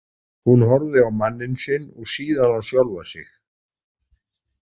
Hún horfir á manninn sinn og síðan á sjálfa sig.